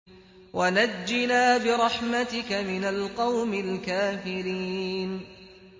وَنَجِّنَا بِرَحْمَتِكَ مِنَ الْقَوْمِ الْكَافِرِينَ